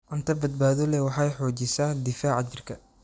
Cunto badbaado leh waxay xoojisaa difaaca jirka.